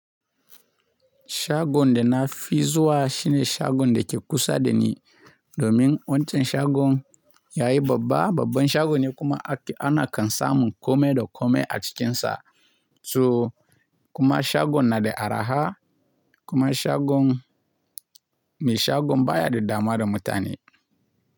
Shagon da na fi zuwa shine shagon da ke kusa da ni domin wancan shagon yayi babba. Babban shagon ne kuma ana kansamun kome da kome a cikinsa. To kuma shagon na da arha kuma shagon mai shagon baya da damuwa da mutane.